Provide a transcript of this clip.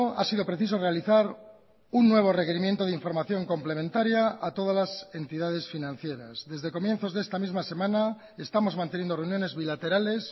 ha sido preciso realizar un nuevo requerimiento de información complementaria a todas las entidades financieras desde comienzos de esta misma semana estamos manteniendo reuniones bilaterales